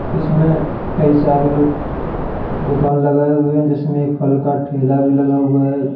इसमें कई सारे लोग दुकान लगाए हुए हैं जिसमें एक फल का ठेला भी लगा हुआ है।